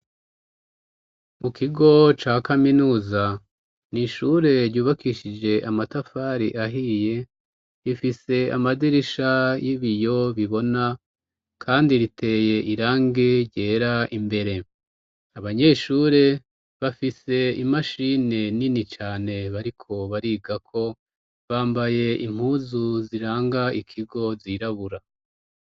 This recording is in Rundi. Mu kigo ca Kaminuza nishure ryubakishije amatafari ahiye ifise amadirisha y'ibiyo bibona kandi riteye irangi ryera imbere abanyeshure bafise imashini nini cane bariko bariga ko bambaye impuzu ziranga ikigo zirabura.